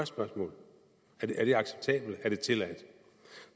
spørgsmål er det acceptabelt er det tilladt